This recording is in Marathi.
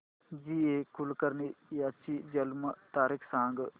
जी ए कुलकर्णी यांची जन्म तारीख सांग